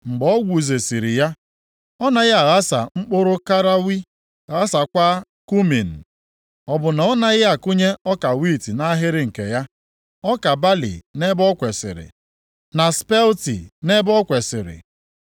Mgbe o gwuzesịrị ya, ọ naghị aghasa mkpụrụ karawe, ghasaakwa kumin? Ọ bụ na ọ naghị akụnye ọka wiiti nʼahịrị nke ya, ọka balị nʼebe o kwesiri, na spelti nʼebe o kwesiri?